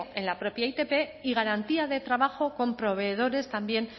en la propia itp y garantía de trabajo con proveedores también